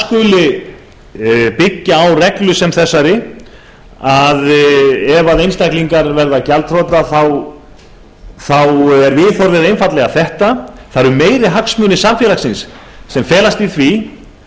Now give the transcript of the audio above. skuli byggja á reglu sem þessari að ef einstaklingar verða gjaldþrota er viðhorfið einfaldlega þetta það eru meiri hagsmunir samfélagsins sem felast í því